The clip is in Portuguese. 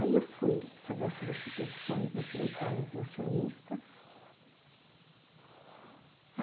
Aí eu fui fazer as substituições da secretária dos acionistas.